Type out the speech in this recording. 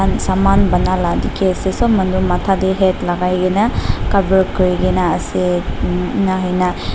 saman banai la dikhi ase sob manu matha dey hat lagai krna cover kurigena ase mm ena huina--